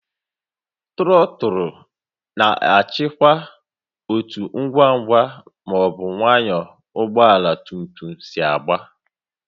Trọtụlụ na-achịkwa otú ngwa ngwa ma ọ bụ nwayọọ ọgba tum tum si aga